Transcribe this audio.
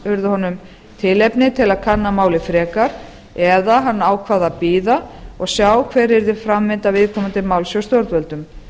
urðu honum tilefni til að kanna farið frekar eða hann ákvað að bíða og sjá hver yrði framvinda viðkomandi máls hjá stjórnvöldum